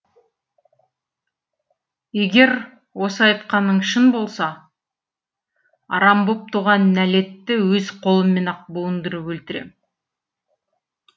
егер осы айтқаның шын болса арам боп туған нәлетті өз қолыммен ақ буындырып өлтірем